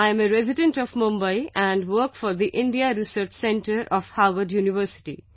I am a resident of Mumbai and work for the India Research Centre of Harvard University